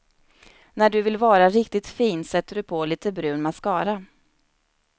När du vill vara riktigt fin sätter du på lite brun mascara.